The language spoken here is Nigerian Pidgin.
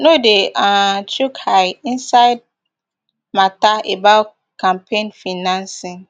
no dey um chook eye inside mata about campaign financing